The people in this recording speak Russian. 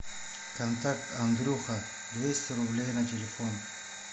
контакт андрюха двести рублей на телефон